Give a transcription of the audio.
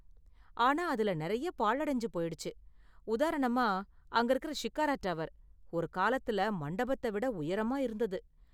ஆனா அதுல நெறைய பாழடைஞ்சு போயிடுச்சு, உதாரணமா, அங்க இருக்குற ஷிக்காரா டவர், ஒரு காலத்துல மண்டபத்த விட உயரமா இருந்தது.